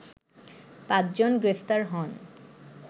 পাঁচজন গ্রেপ্তার হন